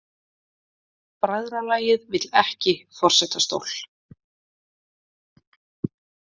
Bræðralagið vill ekki forsetastól